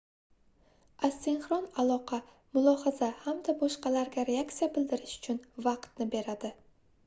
asinxron aloqa mulohaza hamda boshqalarga reaksiya bildirish uchun vaqtni beradi